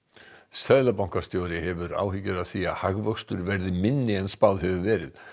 seðlabankastjóri hefur áhyggjur af því að hagvöxtur verði minni en spáð hefur verið